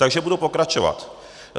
Takže budu pokračovat.